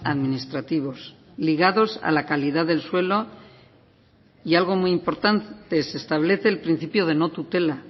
administrativos ligados a la calidad del suelo y algo muy importante se establece el principio de no tutela